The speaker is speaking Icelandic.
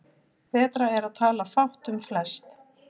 Betra er að tala fátt um flest.